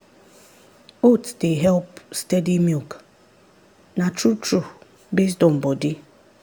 oats dey help steady milk na true true based on body.